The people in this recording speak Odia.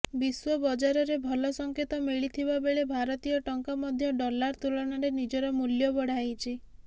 ବିଶ୍ବ ବଜାରରେ ଭଲ ସଂଙ୍କେତ ମିଳିଥିବା ବେଳେ ଭାରତୀୟ ଟଙ୍କା ମଧ୍ୟ ଡଲାର ତୁଳନାରେ ନିଜର ମୂଲ୍ୟ ବଢାଇଛି